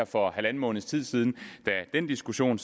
for halvanden måneds tid siden da denne diskussion